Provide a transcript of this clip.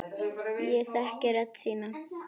Ég þekki rödd þína.